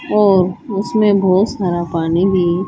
और उसमें बहोत सारा पानी भी